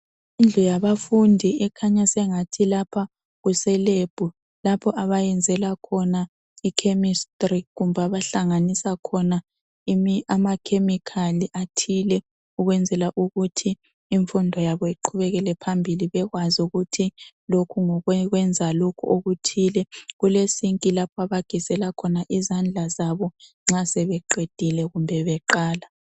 indlu yabafundi ekhanya sengathi lapha kuse lab lapha abayenzela khona i chemistry kumbe lapha abahlanganisa khona ama chemical athile ukwenzela ukuthi imfundo yabo iqhubekele phambili bebekwazi ukuthi lokhu ngokokwenza okuthile kule sinki lapho aagezela khona izandla zabo masebeqedile kumbe beqala